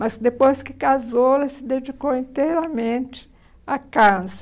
Mas depois que casou, ela se dedicou inteiramente à casa.